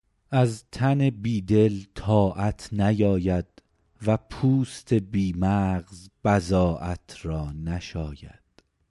از تن بی دل طاعت نیاید و پوست بی مغز را بضاعت نشاید